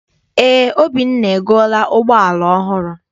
Eé, Obinna egoola ụgbọala ọhụrụ.